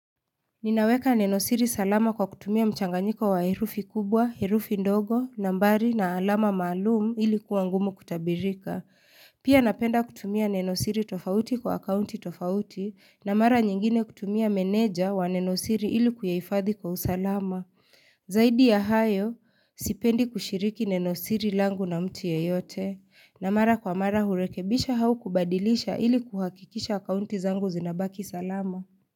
Ninaweka nenosiri salama kwa kutumia mchanganyiko wa herufi kubwa, herufi ndogo, nambari na alama maalum ili kuwa ngumu kutabirika. Pia napenda kutumia nenosiri tofauti kwa akaunti tofauti na mara nyingine kutumia meneja wa nenosiri ili kulihifadhi kwa usalama. Zaidi ya hayo, sipendi kushiriki nenosiri langu na mtu yeyote na mara kwa mara hurekebisha au kubadilisha ili kuhakikisha akaunti zangu zinabaki salama.